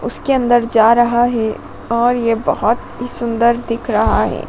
उसके अंदर जा रहा है और ये बहुत ही सुंदर दिख रहा है।